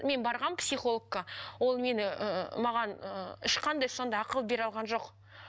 мен барғанмын психологқа ол мені ыыы маған ыыы ешқандай сондай ақыл бере алған жоқ